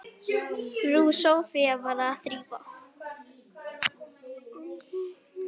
Frú Soffía var að þrífa.